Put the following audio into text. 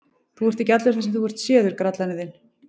Þú ert ekki allur þar sem þú ert séður, grallarinn þinn!